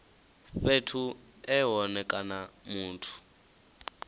fhethu e hone kana muthu